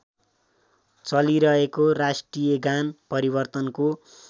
चलिरहेको राष्ट्रियगान परिवर्तनको